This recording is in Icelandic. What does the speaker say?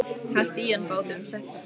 Hellti í handa báðum, settist og sagði: